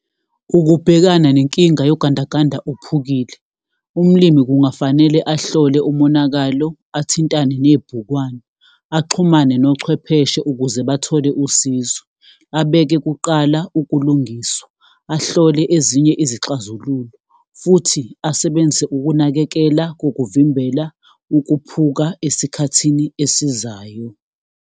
Ukubhekana nenkinga yogandaganda ophukile. Umlimi kungafanele ahlole umonakalo, athintane nebhukwana, axhumane nochwepheshe ukuze bathole usizo. Abeke kuqala ukulungiswa. Ahlole ezinye izixazululo, futhi asebenzise ukunakekela kokuvimbela ukuphuka esikhathini esizayo.